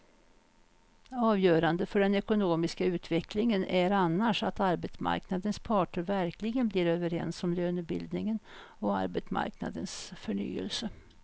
Avgörande för den ekonomiska utvecklingen är annars att arbetsmarknadens parter verkligen blir överens om lönebildningen och arbetsmarknadens förnyelse.